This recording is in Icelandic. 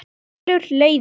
Hér skilur leiðir.